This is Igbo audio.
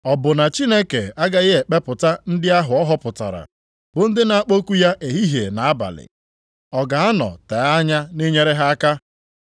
Ọ bụ na Chineke agaghị ekpepụta ndị ahụ ọ họpụtara, bụ ndị na-akpọku ya ehihie na abalị? Ọ ga-anọ tee anya nʼinyere ha aka?